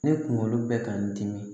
Ne kunkolo bɛ ka n dimi